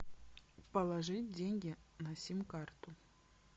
положить деньги на сим карту